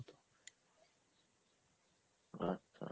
আচ্ছা